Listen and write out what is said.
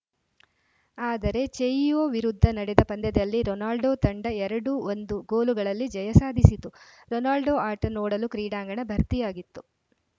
ಆದರೆ ಚೆಯಿವೋ ವಿರುದ್ಧ ನಡೆದ ಪಂದ್ಯದಲ್ಲಿ ರೊನಾಲ್ಡೋ ತಂಡ ಎರಡು ಒಂದು ಗೋಲುಗಳಲ್ಲಿ ಜಯ ಸಾಧಿಸಿತು ರೊನಾಲ್ಡೋ ಆಟ ನೋಡಲು ಕ್ರೀಡಾಂಗಣ ಭರ್ತಿಯಾಗಿತ್ತು